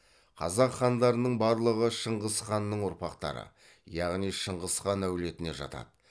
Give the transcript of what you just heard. қазақ хандарының барлығы шыңғыс ханның ұрпақтары яғни шыңғыс хан әулетіне жатады